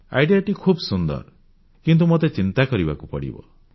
ବିଚାର ବା ଆଇଡିଇଏ ଟି ଖୁବ ସୁନ୍ଦର କିନ୍ତୁ ମୋତେ ଚିନ୍ତା କରିବାକୁ ପଡ଼ିବ